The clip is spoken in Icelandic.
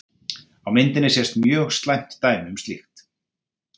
Á myndinni sést mjög slæmt dæmi um slíkt.